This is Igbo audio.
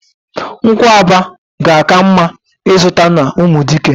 Nkwụaba ga-aka mma izuta n'Umudike.